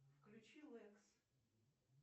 включи лэкс